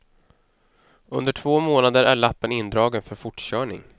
Under två månader är lappen indragen för fortkörning.